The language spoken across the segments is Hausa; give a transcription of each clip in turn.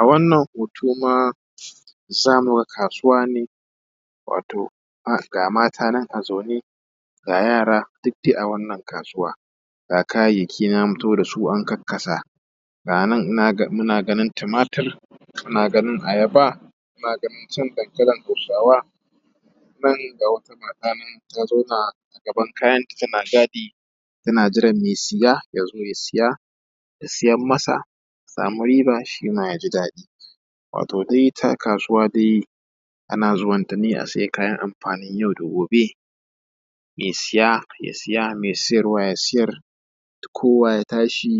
a wannan hoto ma zamu ga kasuwa ne wato ga mata nan a zaune ga yara duk dai a wannan kasuwa ga kayayyaki nan an fito dasu an karkasa ga nan muna ganin tumatir muna ganin a yaba muna ganin can dankalin hausawa nan ga wata mata nan ta zauna gaban kayanta tana tana taɗi tana jiran mai siya yazo ya siya ta siyar masa ta samu riba shima ya yaji daɗi wato dai ita kasuwa dai ana zuwan ta ne a siyo kayan amfanin yau da gobe mai siya ya siya mai siyarwa ya siyar kowa ya tashi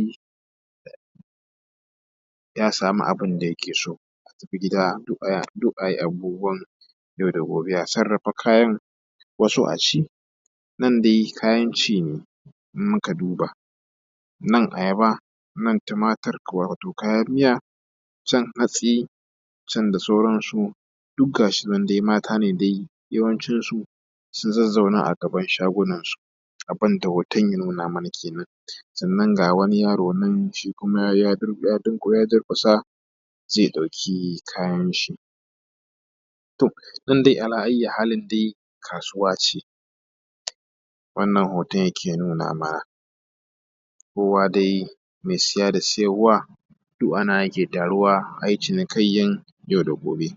ya samu abun da yake so a tafi gida duk ayi abubuwan yau da gobe duk a sarrafa kayan wasu a ci nan dai kayan ci ne in muka duba nan a yaba nan tumatir wato kayan miya can hatsi can da sauran su duk gashi nan dai mata ne dai yawancin su sun zazzauna a gaban shagunan su abun da hoton ya nuna mana kenan sannan ga wani yaro nan shi kuma ya durƙusa zai ɗauki kayan shi nan dai ala ayyi halin dai kasuwa ce wannan hoton yake nunawa kowa dai mai siya da siyarwa duk a nan ake taruwa ayi cinikayyar yau da gobe